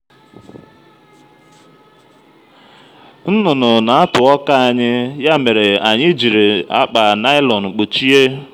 nnụnụ na-atụ ọka anyị ya mere anyị jiri akpa naịlọn kpuchie